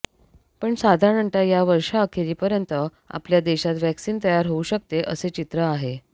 पण साधारणतः या वर्षाअखेरीपर्यंत आपल्या देशात व्हॅक्सिन तयार होऊ शकते असे चित्र आहे